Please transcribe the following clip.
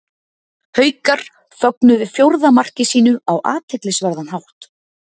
Haukar fögnuðu fjórða marki sínu á athyglisverðan hátt.